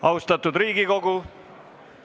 Austatud Riigikogu!